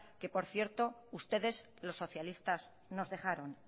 que por cierto ustedes los socialistas nos dejaron